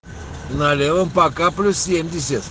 на левом пока плюс семьдесят